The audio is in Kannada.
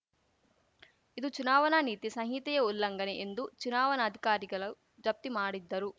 ಇದು ಚುನಾವಣಾ ನೀತಿ ಸಂಹಿತೆಯ ಉಲ್ಲಂಘನೆ ಎಂದು ಚುನಾವಣಾಧಿಕಾರಿಗಲು ಜಪ್ತಿ ಮಾಡಿದ್ದರು